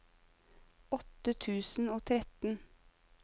åtte tusen og tretten